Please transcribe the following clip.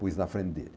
Pus na frente dele.